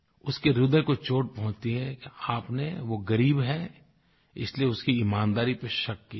उसके ह्रदय को चोट पहुँचती है कि आपने वो ग़रीब है इसलिए उसकी ईमानदारी पर शक किया है